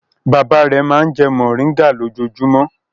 Bàbá rẹ̀ máa ń jẹ mòríngà lójoojúmọ́.